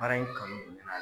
Baara in kanu